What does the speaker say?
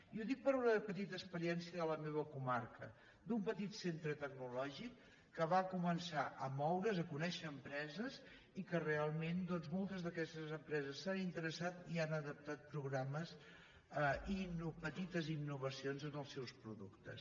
i ho dic per una petita experiència de la meva co·marca d’un petit centre tecnològic que va començar a moure’s a conèixer empreses i realment doncs mol·tes d’aquestes empreses s’han interessat i han adaptat programes i petites innovacions en els seus productes